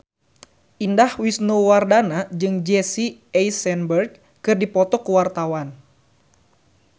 Indah Wisnuwardana jeung Jesse Eisenberg keur dipoto ku wartawan